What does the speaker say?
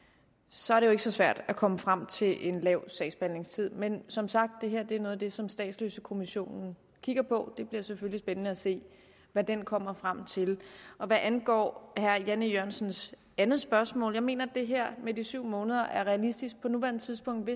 så er det jo ikke så svært at komme frem til en lav sagsbehandlingstid men som sagt det her er noget af det som statsløsekommissionen kigger på og det bliver selvfølgelig spændende at se hvad den kommer frem til hvad angår herre jan e jørgensens andet spørgsmål mener jeg her med de syv måneder er realistisk på nuværende tidspunkt